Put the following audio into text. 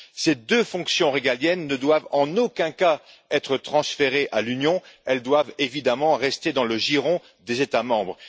Ces deux fonctions régaliennes ne doivent en aucun cas être transférées à l'Union, elles doivent évidemment rester dans le giron des États membres.